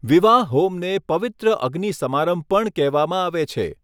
વિવાહ હોમને 'પવિત્ર અગ્નિ સમારંભ' પણ કહેવામાં આવે છે.